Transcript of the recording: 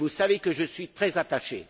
Et vous savez que j'y suis très attaché.